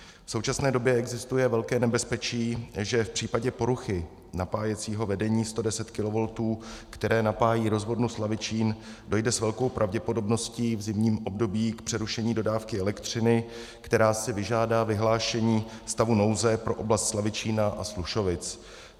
V současné době existuje velké nebezpečí, že v případě poruchy napájecího vedení 110 kV, které napájí rozvodnu Slavičín, dojde s velkou pravděpodobností v zimním období k přerušení dodávky elektřiny, která si vyžádá vyhlášení stavu nouze pro oblast Slavičína a Slušovic.